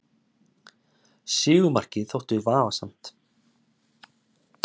Sigurmarkið þótti vafasamt